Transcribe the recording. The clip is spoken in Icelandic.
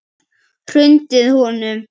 Hrundið honum?